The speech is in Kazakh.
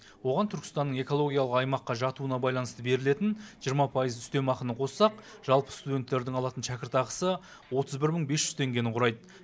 оған түркістанның экологиялық аймаққа жатуына байланысты берілетін жиырма пайызын үстемақыны қоссақ жалпы студенттердің алатын шәкіртақысы отыз бір мың бес жүз теңгені құрайды